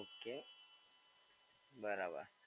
Okay બરાબર.